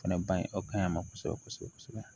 O fɛnɛ bange o kaɲi a ma kosɛbɛ kosɛbɛ